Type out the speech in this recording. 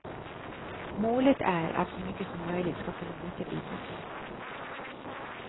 Målet är att så mycket som möjligt ska kunna återvinnas.